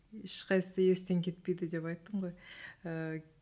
ешқайсысы естен кетпейді деп айттың ғой ііі